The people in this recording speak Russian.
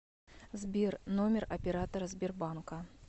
сбер номер оператора сбербанка